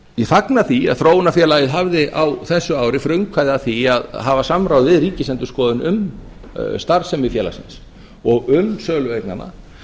ég fagna því að þróunarfélagið hafði á þessu ári frumkvæði að því að hafa samráð við ríkisendurskoðun um starfsemi félagsins og um sölu eignanna